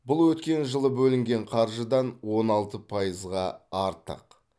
бұл өткен жылы бөлінген қаржыдан он алты пайызға артық